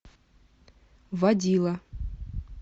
водила